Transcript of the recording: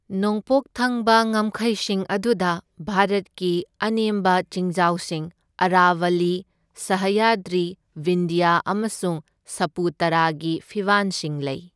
ꯅꯣꯡꯄꯣꯛ ꯊꯪꯕ ꯉꯝꯈꯩꯁꯤꯡ ꯑꯗꯨꯗ ꯚꯥꯔꯠꯀꯤ ꯑꯅꯦꯝꯕ ꯆꯤꯡꯖꯥꯎꯁꯤꯡ, ꯑꯔꯥꯚꯜꯂꯤ, ꯁꯥꯍ꯭ꯌꯥꯗ꯭ꯔꯤ, ꯕꯤꯟꯙ꯭ꯌꯥ ꯑꯃꯁꯨꯡ ꯁꯄꯨꯇꯥꯔꯥꯒꯤ ꯐꯤꯕꯥꯟꯁꯤꯡ ꯂꯩ꯫